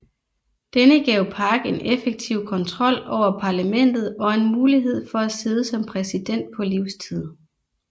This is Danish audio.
Denne gav Park en effektiv kontrol over parlamentet og en mulighed for at sidde som præsident på livstid